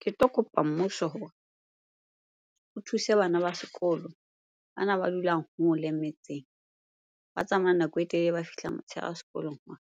Ke tlo kopa mmuso hore o thuse bana ba sekolo bana ba dulang hole metseng, ba tsamayang nako e telele ba fihla motsheare sekolong hore